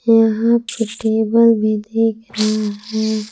यहां पर टेबल भी दिख रहा है।